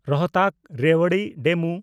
ᱨᱳᱦᱛᱟᱠ–ᱨᱮᱣᱟᱲᱤ DEMU